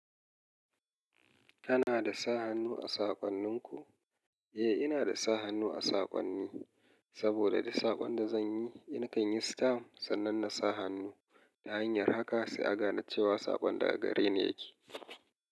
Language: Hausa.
Kana da sa hannu a saƙonnin ku? Eh, ina da sa hannu a saƙonni saboda da duk saƙon da zan yi, na kan yi stam sannan na sa hannu ta hanyar haka sai a gane cewa saƙon daga gare ni yake.